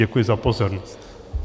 Děkuji za pozornost.